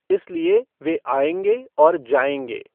इसलिए वे आऍगे और जाऍगे।